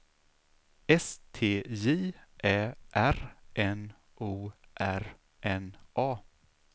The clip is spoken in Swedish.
S T J Ä R N O R N A